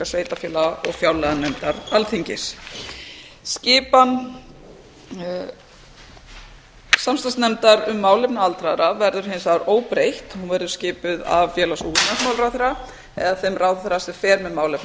sveitarfélaga og fjárlaganefndar alþingis skipan samstarfsnefndar um málefni aldraðra verður hins vegar óbreytt hún verður skipuð af félags og húsnæðismálaráðherra eða þeim ráðherra sem fer með málefni